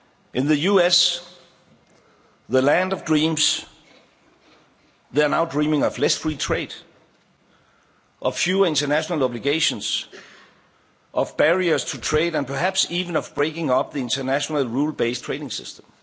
In the US, the land of dreams, they are now dreaming of less free trade, of fewer international obligations, of barriers to trade and perhaps even of breaking up the international rules based trading